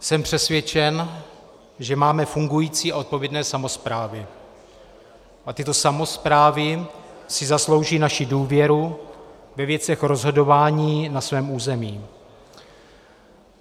Jsem přesvědčen, že máme fungující a odpovědné samosprávy a tyto samosprávy si zaslouží naši důvěru ve věcech rozhodování na svém území.